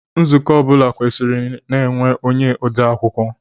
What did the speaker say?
Nzukọ ọ bụla kwesiri na-enwe onye odeakwụkwọ.